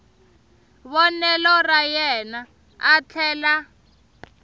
vonelo ra yena a tlhela